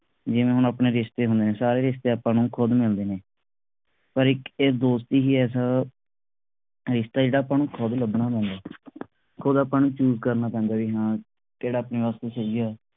ਜਿਵੇਂ ਹੁਣ ਆਪਣੇ ਰਿਸ਼ਤੇ ਹੁੰਦੇ ਸਾਰੇ ਰਿਸ਼ਤੇ ਆਪਾ ਨੂੰ ਖੁਦ ਮਿਲਦੇ ਨੇ ਪਰ ਇਕ ਇਹ ਦੋਸਤੀ ਹੀ ਐਸਾ ਰਿਸ਼ਤਾ ਏ ਆਪਾ ਨੂੰ ਖੁਦ ਲੱਭਣਾ ਪੈਂਦਾ ਖੁਦ ਆਪਾ ਨੂੰ choose ਕਰਨਾ ਪੈਂਦਾ ਬਈ ਹਾਂ ਕਿਹੜਾ ਆਪਣੇ ਵਾਸਤੇ ਸਹੀ ਆ